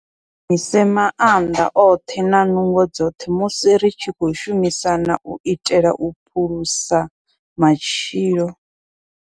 Kha ri shumise maanḓa oṱhe na nungo dzoṱhe musi ri tshi khou shumisana u itela u phulusa matshilo.